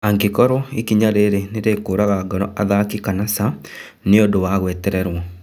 Angĩkorwo ikinya rĩrĩ nĩrĩkũraga ngoro athaki kana ca, nĩũndũ wa gwetererwo.